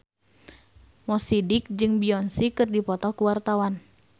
Mo Sidik jeung Beyonce keur dipoto ku wartawan